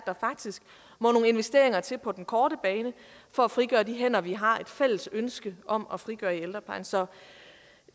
der faktisk må nogle investeringer til på den korte bane for at frigøre de hænder vi har et fælles ønske om at frigøre i ældreplejen så